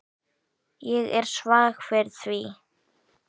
Ég er svag fyrir því.